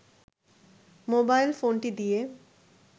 mobile ফোনটি দিয়ে